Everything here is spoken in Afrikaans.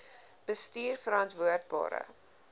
bestuurverantwoordbare